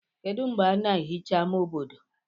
kedu mgbe a na-ehicha ama obodo